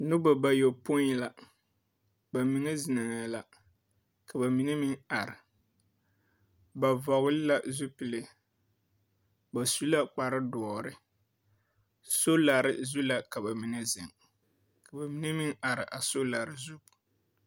Nobɔ bayɔpoĩ la, ba mine zeŋɛɛ la, ka ba mine meŋ ar. Ba vɔgle la zupille. Ba su la kpardoɔre. Solare zu ka ba mine zeŋ. Ka ba mine meŋ ar a solare zu.